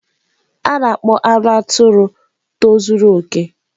A na-akpọ anụ atụrụ tozuru okè.